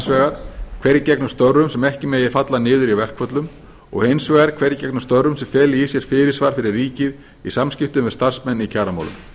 vegar hverjir gegni störfum sem ekki megi falla niður í verkföllum og hins vegar hverjir gegni störfum sem feli í sér fyrirsvar fyrir ríkið í samskiptum við starfsmenn í kjaramálum